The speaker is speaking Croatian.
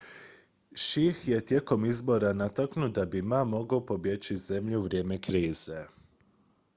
hsieh je tijekom izbora natuknuo da bi ma mogao pobjeći iz zemlje u vrijeme krize